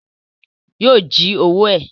Yóò jí owó ẹ̀